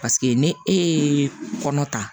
Paseke ni e ye kɔnɔ ta